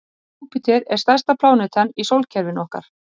Júpíter er stærsta plánetan í sólkerfinu okkar.